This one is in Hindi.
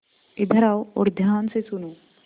इधर आओ और ध्यान से सुनो